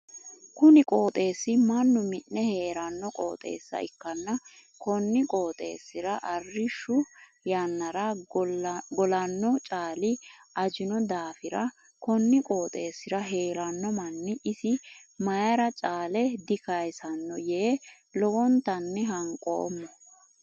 Kunni qooxeesi mannu mi'ne heerano qooxeessa ikanna konni qooxeesira arishu yannara golano caali ajinno daafira konni qooxeesira heerano manni isi mayira caale dikayisano yee lowontanni hanqoomo.